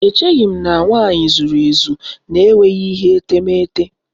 Echeghị m na nwanyị zuru ezu n'enweghị ihe etemete